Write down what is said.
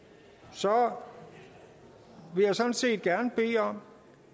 så vil jeg sådan set gerne bede om